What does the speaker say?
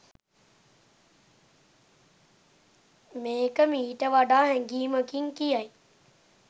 මේක මීට වඩා හැඟීමකින් කියයි